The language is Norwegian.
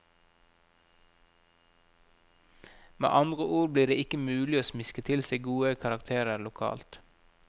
Med andre ord blir det ikke mulig å smiske til seg gode karakterer lokalt.